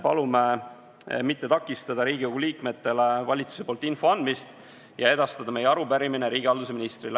Palume mitte takistada Riigikogu liikmetele valitsuse poolt info andmist ja edastada meie arupärimine riigihalduse ministrile.